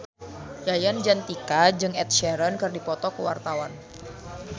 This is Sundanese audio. Yayan Jatnika jeung Ed Sheeran keur dipoto ku wartawan